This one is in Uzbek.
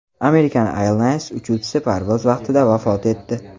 American Airlines uchuvchisi parvoz vaqtida vafot etdi.